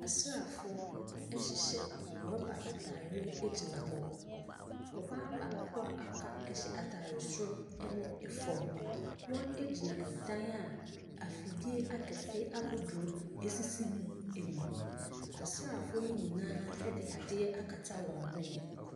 Asrafoɔ hyehyɛ rubber atareɛ gyiagyina hɔ. Ɔbaa baako aka hyɛ ataareɛ soro ɛne fam. Wɔgyina ɛdan a afidie akɛseɛ si mu. Asrafoɔ yi nyinaa ɛde adeɛ akata wɔn hwene.